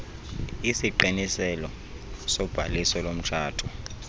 isiqiniselo sobhaliso lomtshato